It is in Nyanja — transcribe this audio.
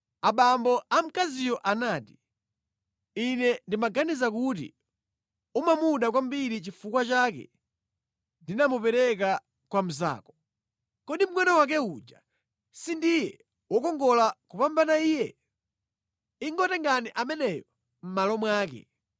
Abambo a mkaziyo anati, “Ine ndimaganiza kuti umamuda kwambiri nʼchifukwa chake ndinamupereka kwa mnzako. Kodi mngʼono wake uja sindiye wokongola kupambana iye? Ingotengani ameneyo mʼmalo mwake.”